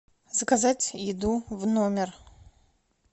заказать еду в номер